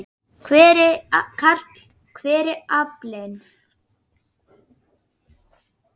Karl: Hver er aflinn?